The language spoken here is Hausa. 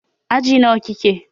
Aji nawa kike?